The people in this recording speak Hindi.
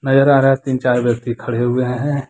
नजर आ रहा है तीन चार व्यक्ति खड़े हुए हैं।